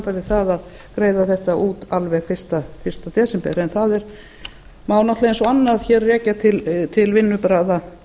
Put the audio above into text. við það að greiða þetta út alveg fyrsta desember en það má eins og annað rekja til vinnubragða